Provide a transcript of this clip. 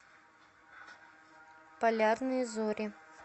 полярные зори